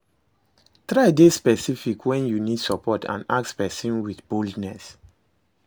Try de specific when you need support and ask persin with boldness